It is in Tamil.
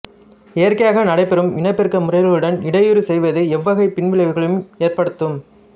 இயற்கையாக நடைபெறும் இனப்பெருக்க முறைகளுடன் இடையூறு செய்வது எவ்வகை பின் விளைவுகளை ஏற்படுத்தும்